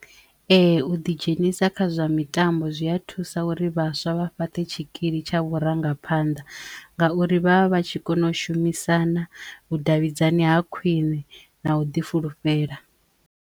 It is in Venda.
Ee u ḓi dzhenisa kha zwa mitambo zwi ya thusa uri vhaswa vha fhaṱe tshikili tsha vhurangaphanḓa ngauri vha vha vha tshi kono u shumisana, vhudavhidzani ha khwine na u ḓi fulufhela.